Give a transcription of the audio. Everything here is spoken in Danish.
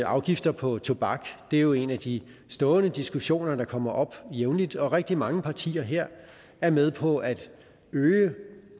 afgifter på tobak det er jo en af de stående diskussioner der kommer op jævnligt og rigtig mange partier her er med på at øge